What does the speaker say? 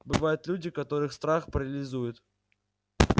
бывают люди которых страх парализует